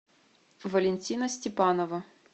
валентина степанова